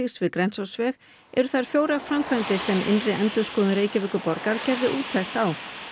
við Grensásveg eru þær fjórar framkvæmdir sem innri endurskoðun Reykjavíkur gerði úttekt á